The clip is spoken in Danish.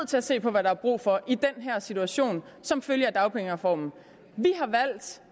til at se på hvad der er brug for i den her situation som følge af dagpengereformen